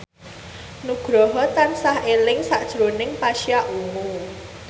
Nugroho tansah eling sakjroning Pasha Ungu